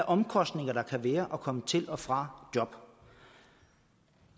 omkostninger der kan være at komme til og fra job